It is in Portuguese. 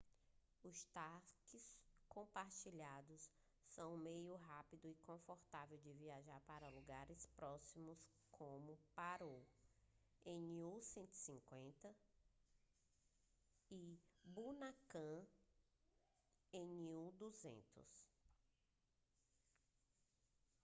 os táxis compartilhados são um meio rápido e confortável de viajar para lugares próximos como paro nu 150 e punakha nu 200